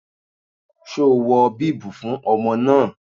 Ṣo wọ bíbù fún ọmọ náà?